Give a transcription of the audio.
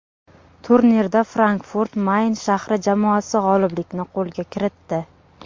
Turnirda Frankfurt-Mayn shahri jamoasi g‘oliblikni qo‘lga kiritdi.